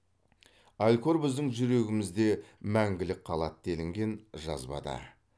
алькор біздің жүрегімізде мәңгілік қалады делінген жазбада